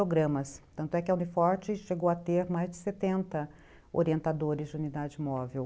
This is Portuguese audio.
Tanto é que a Uni Forte chegou a ter mais de setenta orientadores de unidade móvel.